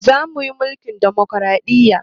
Za mu yi mulkin ɗamokraɗiya